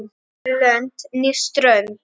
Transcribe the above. Hvorki lönd né strönd.